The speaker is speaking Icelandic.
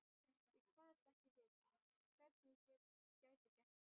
Ég kvaðst ekki vita, hvernig ég gæti gert það.